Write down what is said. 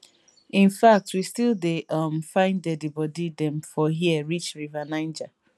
in fact we still dey um find deadibody dem from hia reach river niger